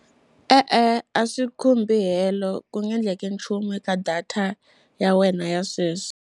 E-e, a swi khumbi helo ku nga endleki nchumu eka data ya wena ya sweswi.